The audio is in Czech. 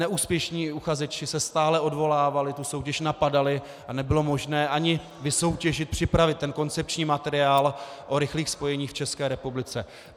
Neúspěšní uchazeči se stále odvolávali, tu soutěž napadali a nebylo možné ani vysoutěžit, připravit ten koncepční materiál o rychlých spojeních v České republice.